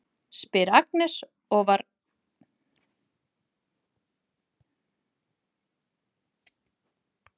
spyr Agnes og dregur varalit upp úr lítilli handtösku sem hún er með.